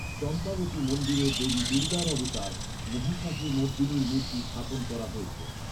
চম্পাবতী মন্দিরে দেবী দুর্গার অবতার, মহিষাসুরমর্দিনীর মূর্তি স্থাপন করা হয়েছে।